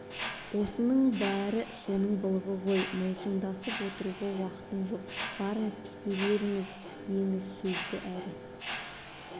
осының бәрі соның былығы онымен мылжыңдасып отыруға уақытым жоқ барыңыз кете берсін деңіз сөзді әрі